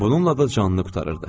Bununla da canını qurtarırdı.